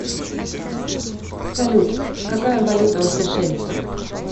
салют какая валюта у сейшельцев